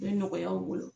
Bɛ nɔgɔya an bolo